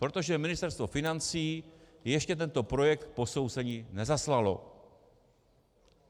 Protože Ministerstvo financí ještě tento projekt k posouzení nezaslalo.